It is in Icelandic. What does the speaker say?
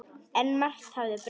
En margt hafði breyst.